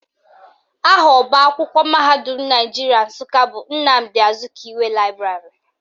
Aha ọbaakwụkwọ mahadum Naijiria Nsụka bụ Nnamdi Azikiwe Laịbrarị